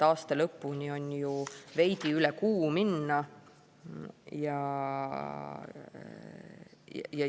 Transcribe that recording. Aasta lõpuni on ju veidi üle kuu minna.